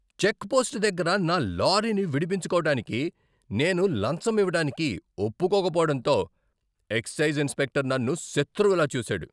Check post దగ్గర నా లారీని విడిపించుకోడానికి నేను లంచం ఇవ్వడానికి ఒప్పుకోకపోవటంతో ఎక్సైజ్ ఇన్స్పెక్టర్ నన్ను శత్రువులా చూసాడు.